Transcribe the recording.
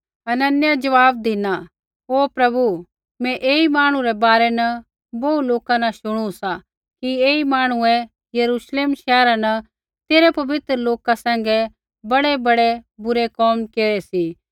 हनन्याहै ज़वाब धिना हे प्रभु मैं ऐई मांहणु रै बारै न बोहू लोका न शुणू सा कि ऐई मांहणुऐ यरूश्लेम शैहरा न तेरै पवित्र लोका सैंघै बड़ैबड़ै बुरै कोम केरै सी